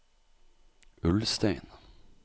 Ulstein